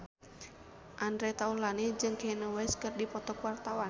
Andre Taulany jeung Kanye West keur dipoto ku wartawan